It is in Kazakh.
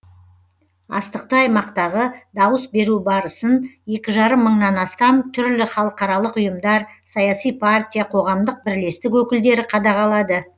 астықты аймақтағы дауыс беру барысын екі жарым мыңнан астам түрлі халықаралық ұйымдар саяси партия қоғамдық бірлестік өкілдері қадағалады